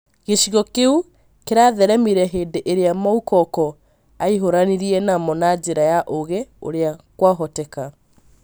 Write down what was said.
Gĩcigo kĩu kĩratheremire, hĩndĩ ĩrĩa Moukoko ahiũranirie namo na njĩra ya ũgĩ ũrĩa kwahoteka